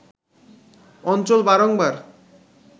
অঞ্চল বারংবার